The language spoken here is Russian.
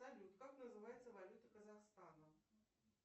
салют как называется валюта казахстана